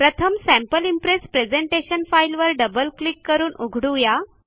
प्रथम sample impress presentation file वर double click करून उघडू